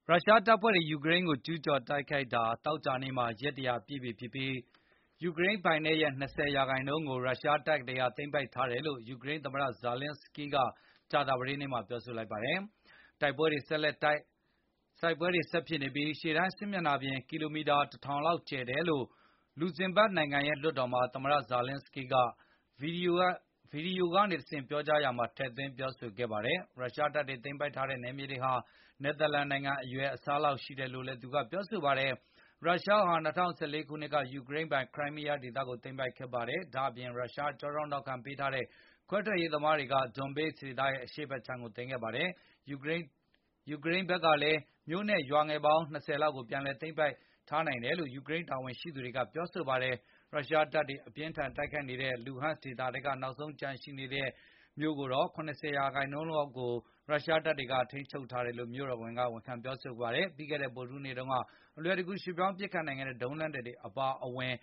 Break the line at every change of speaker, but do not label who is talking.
ရုရှားတပ်ဖွဲ့တွေ ယူကရိန်းကို ကျူးကျော်တိုက်ခိုက်တာ သောကြာနေ့က ရက် ၁၀၀ ပြည့် ပြီဖြစ်ပြီး၊ ယူရိန်းပိုင်နက်ရဲ့ ၂၀ ရာခိုင်နှုန်းကို ရုရှားတပ်တွေ သိမ်းပိုက်ထားတယ်လို့ ယူကရိန်း သမ္မတ Volodymyr Zelenskyy က ကြာသပတေးနေ့ ကပြောဆိုလိုက်ပါတယ်။ တိုက်ပွဲတွေဆက်တိုက်ဖြစ်နေပြီး၊ ရှေ့တန်းစစ်မျက်နှာပြင်ဟာ ကီလိုမီတာ ၁၀၀၀ လောက်ကျယ်တယ်လို့ လူဇင်ဘတ်နိုင်ငံရဲ့ လွှတ်တော်မှာ သမ္မတ Volodymyr Zelenskyy က ဗွီဒီယိုကနေတဆင့် ပြောကြားရာမှာ ထည့်သွင်းပြောဆိုခဲ့ပါတယ်။ ရုရှားတပ်တွေ သိမ်းပိုက်ထားတဲ့ နယ်မြေဟာ နယ်သာလန်နိုင်ငံ အရွယ်အစားလောက်ရှိတယ် လို့လည်းပြောဆိုခဲ့ပါတယ်။ ရုရှားဟာ ၂၀၁၄ ခုနှစ်က ယူကရိန်းပိုင် ခရိုင်းမီးယားဒေသကို သိမ်းပိုက်ခဲ့ပါတယ်။ ဒါ့အပြင် ရုရှားကြောထောက်နောက်ခံပေးထားတဲ့ ခွဲထွက်ရေးသမားတွေက Donbass ဒေသရဲ့ရှေ့ဖက်ခြမ်းကိုသိမ်းပိုက်ခဲ့ပါတယ်။ ယူကရိန်းတပ်ဖွဲ့ ဘက်ကလည်း မြို့နဲ့ရွာငယ်ပေါင်း ၂၀ လောက်ကို ပြန်လည်သိမ်းပိုက်နိုင်ခဲ့တယ်လို့ ယူကရိန်း တာဝန်ရှိသူတွေက ပြောဆိုပါတယ်။ ရုရှားတပ်တွေ အပြင်းအထန်တိုက်ခိုက်နေတဲ့ လူဟန့်ဒေသထဲက နောက်ဆုံးကျန်ရှိနေတဲ့ မြို့ကြီးဖြစ်တဲ့ Sievierodonetsk ရဲ့ ၇၀ % ကိုရုရှားတပ်တွေက ထိန်းချုပ်ထားတယ်လို့ ယူကရိန်းမြို့တော်ဝန်က ဝန်ခံပြောဆိုပါတယ်။ ပြီးခဲ့တဲ့ ဗုဒ္ဓဟူးနေ့က အလွယ်တကူ ရွှေ့ပြောင်းပစ်ခတ်နိုင်တဲ့ ဒုံးလက်နှက်တွေအပါအဝင်